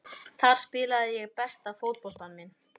Þar spilaði ég besta fótboltann minn.